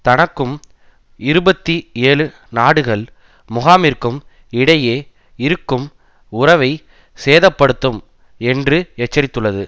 தனக்கும் இருபத்தி ஏழு நாடுகள் முகாமிற்கும் இடையே இருக்கும் உறவை சேதப்படுத்தும் என்று எச்சரித்துள்ளது